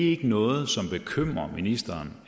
ikke noget som bekymrer ministeren